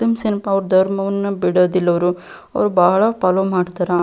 Muslims ಏನಪ್ಪಾ ಅವ್ರ್ ಧರ್ಮವನ್ನ ಬಿಡೋದಿಲ್ಲ ಅವರು ಬಹಳ ಫಾಲ್ಲೋ ಮಾಡ್ತಾರಾ --